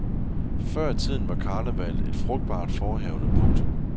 Før i tiden var karnevallet et frugtbart forehavende. punktum